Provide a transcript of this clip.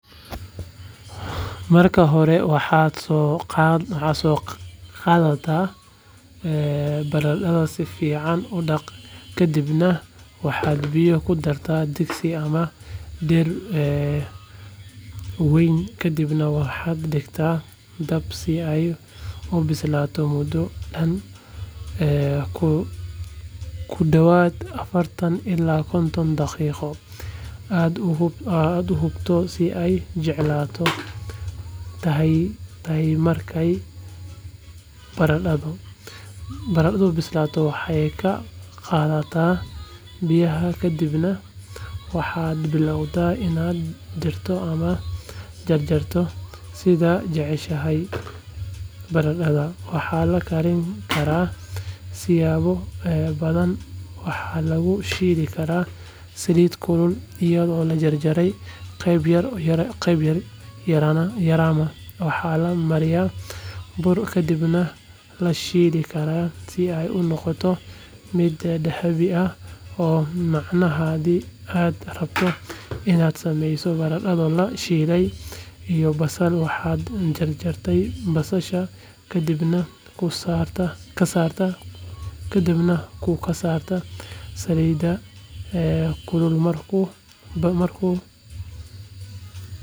Marka hore waxaad soo qaadataa barandhada si fiican u dhaq kadibna waxaad biyo ku dartaa digsi ama dher weynkadibna waxaad dhigtaa dab si ay u bislaato muddo dhan ku dhawaad afartan ilaa konton daqiiqosi aad u hubto in ay jilicsan tahaymarkay barandhadu bislaato waxaad ka qaadaa biyaha kadibna waxaad bilowdaa inaad diirto ama jarjarto sidaad jeceshahaybarandhada waxaa la karin karaa siyaabo badanwaxaa lagu shiili karaa saliid kulul iyadoo la jarjaray qayb yar yarama waxaa la mariyaa bur kadibna la shiili karaa si ay u noqoto mid dahabi ah oo macaanhaddii aad rabto inaad sameyso barandho la shiilay iyo basal waxaad jarjartaa basasha kadibna ku karsaa saliid kululmarkuu basashu bislaado waxaad ku dartaa barandhada oo hore loo shiilaymarkaa kadib waxaad ku dari kartaa milix iyo xawaash si ay u noqoto dhadhan lehbarandhada.